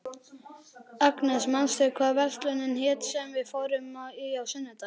Agnes, manstu hvað verslunin hét sem við fórum í á sunnudaginn?